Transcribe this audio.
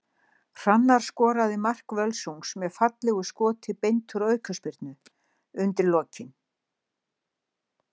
Hrannar skoraði mark Völsungs með fallegu skoti beint úr aukaspyrnu undir lokin.